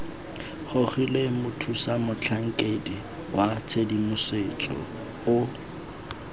gogilwe mothusamotlhankedi wa tshedimosetso o